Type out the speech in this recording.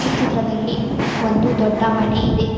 ಈ ಚಿತ್ರದಲ್ಲಿ ಒಂದು ದೊಡ್ಡ ಮನೆ ಇದೆ.